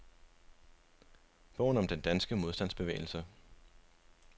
Bogen om den danske modstandsbevægelse.